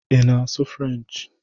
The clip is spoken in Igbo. Ị na-asụ Frenchị?